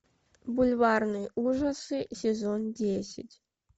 бульварные ужасы сезон десять